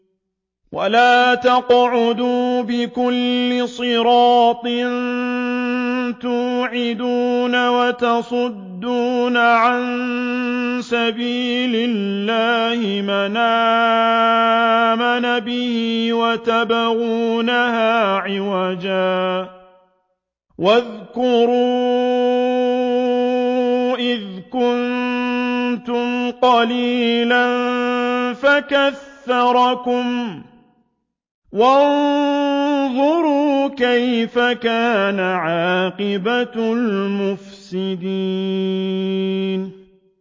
وَلَا تَقْعُدُوا بِكُلِّ صِرَاطٍ تُوعِدُونَ وَتَصُدُّونَ عَن سَبِيلِ اللَّهِ مَنْ آمَنَ بِهِ وَتَبْغُونَهَا عِوَجًا ۚ وَاذْكُرُوا إِذْ كُنتُمْ قَلِيلًا فَكَثَّرَكُمْ ۖ وَانظُرُوا كَيْفَ كَانَ عَاقِبَةُ الْمُفْسِدِينَ